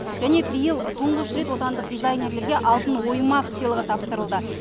және биыл тұңғыш рет отандық дизайнерлерге алтын оймақ сыйлығы тапсырылды